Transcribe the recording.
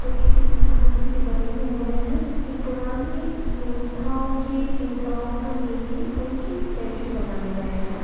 जो की किसी धातु के बने हुए हैं ये पुरानी योद्धाओं की योद्धाओ को ले के उनके स्टैचू बनाए गए हैं।